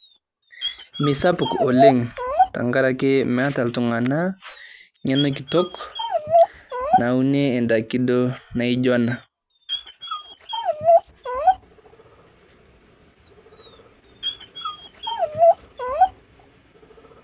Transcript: Mesapuk ole tang'araki meeta ltung'ana ng'eno kitook nauniee ndaaki doo naijo anaa .